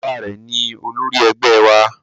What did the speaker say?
Bàbá rẹ̀ ni olórí ẹgbẹ́ wa